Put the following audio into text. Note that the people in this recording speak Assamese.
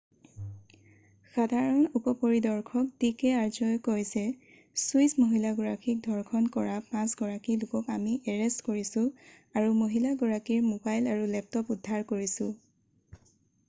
"সাধাৰণ উপ পৰিদৰ্শক ডিকে আৰ্যই কয় যে "ছুইচ মহিলাগৰাকীক ধৰ্যণ কৰা পাঁচ গৰাকী লোকক আমি এৰেষ্ট কৰিছোঁ আৰু মহিলাগৰাকীৰ মোবাইল আৰু লেপটপ উদ্ধাৰ কৰিছোঁ।""